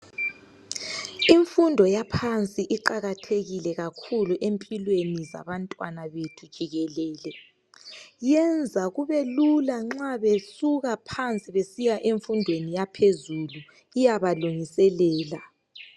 Imfundo yaphansi iqakathekile kakhulu empilweni zabantwana bethu jikelele. Yenza kubelula nxa besuka phansi besiya emfundweni yaphezulu iyabalungisisa.